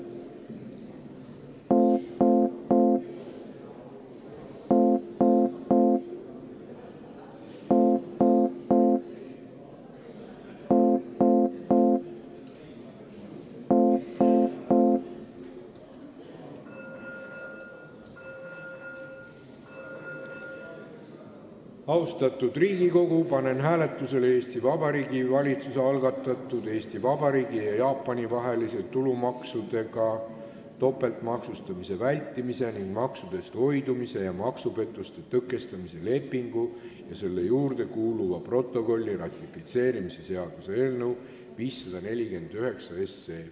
Austatud Riigikogu, panen hääletusele Eesti Vabariigi valitsuse algatatud Eesti Vabariigi ja Jaapani vahelise tulumaksudega topeltmaksustamise vältimise ning maksudest hoidumise ja maksupettuste tõkestamise lepingu ja selle juurde kuuluva protokolli ratifitseerimise seaduse eelnõu 549.